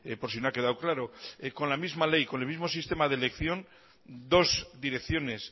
por si no ha quedado claro con la misma ley con el mismo sistema de elección dos direcciones